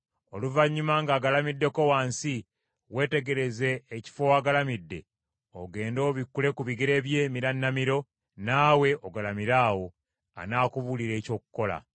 Oluvannyuma ng’agalamiddeko wansi, weetegereze ekifo w’agalamidde, ogende obikkule ku bigere bye emirannamiro, naawe ogalamire awo; anaakubuulira eky’okukola.”